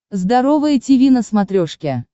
здоровое тиви на смотрешке